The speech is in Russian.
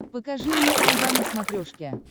покажи мне айва на смотрешке